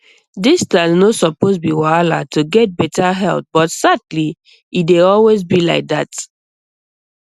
distance no suppose be wahala to get better health but sadly e dey always be like that